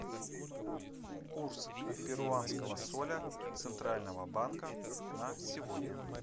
курс перуанского соля центрального банка на сегодня